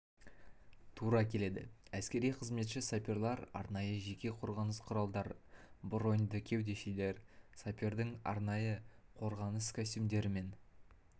тура келеді әскери қызметші саперлар арнайы жеке қорғаныс құралдары броньды кеудешелер сапердің арнайы қорғаныс костюмдерімен